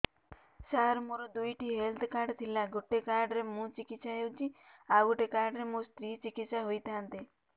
ସାର ମୋର ଦୁଇଟି health card ଥିଲା ଗୋଟେ କାର୍ଡ ରେ ମୁଁ ଚିକିତ୍ସା ହେଉଛି ଆଉ ଗୋଟେ କାର୍ଡ ରେ ମୋ ସ୍ତ୍ରୀ ଚିକିତ୍ସା ହୋଇଥାନ୍ତେ